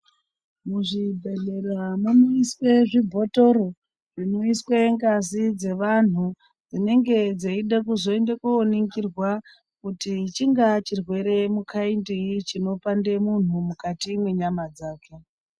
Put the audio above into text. Muzvibhehleramo munoiswe zvibhotoro zvinoiswe ngazi dzevanthu dzinenge dzeide kuzooningirwa kuti chingave chirwere khaindinyi chinopande munhu mukati menyama dzake.